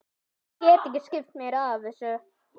Ég get ekki skipt mér af þessu.